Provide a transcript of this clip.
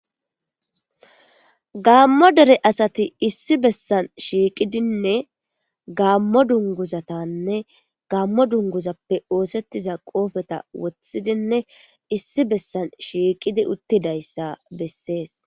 Gaammo dere asati issi bessan shiiqidinne gammo dungguzatanne gaammo dungguzapee oosettiza qoofeza wothidinne issi bessan shiiqisi uttidayssa bessees.